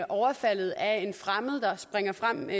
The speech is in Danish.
overfaldet af en fremmed der springer frem